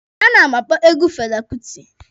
A na m akpọ egwu Fela Kuti.